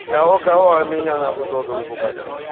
кого-кого а меня нахуй долго выкупать не надо